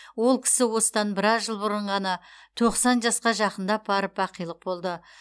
ол кісі осыдан біраз жыл бұрын ғана тоқсан жасқа жақындап барып бақилық болды